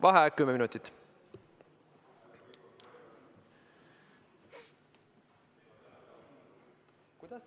Vaheaeg kümme minutit.